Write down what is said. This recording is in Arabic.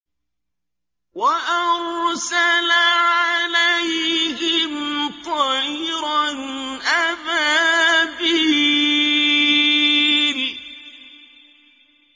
وَأَرْسَلَ عَلَيْهِمْ طَيْرًا أَبَابِيلَ